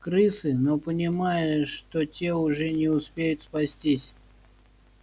крысы но понимая что те уже не успеют спастись